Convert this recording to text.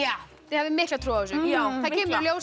þið hafið mikla trú á þessu það kemur í ljós